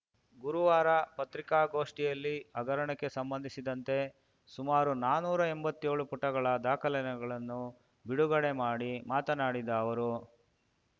ಗುರುವಾರ ಪತ್ರಿಕಾಗೋಷ್ಠಿಯಲ್ಲಿ ಹಗರಣಕ್ಕೆ ಸಂಬಂಧಿಸಿದಂತೆ ಸುಮಾರು ನಾನೂರು ಎಂಬತ್ತೇಳು ಪುಟಗಳ ದಾಖಲೆಗಳನ್ನು ಬಿಡುಗಡೆ ಮಾಡಿ ಮಾತನಾಡಿದ ಅವರು